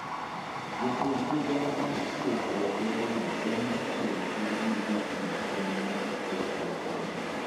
Jatend migao mar thieth e alworano ema chiwo ratiro ne jochiw kony mar thieth e alworano.